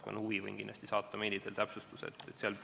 Kui on huvi, võin saata meili teel täpsustuse.